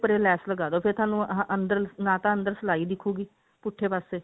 ਉੱਪਰ ਲੈਸ ਲਗਾਦੋ ਫੇਰ ਤੁਹਾਨੂੰ ਨਾ ਤਾਂ ਅੰਦਰ ਸਿਲਾਈ ਦਿਖੁਗੀ ਪੁੱਠੇ ਪਾਸੇ